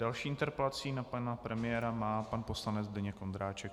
Další interpelaci na pana premiéra má pan poslanec Zdeněk Ondráček.